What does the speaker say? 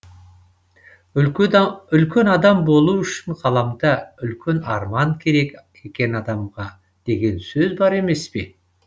үлкен адам болу үшін ғаламда үлкен арман керек екен адамға деген сөз бар емес пе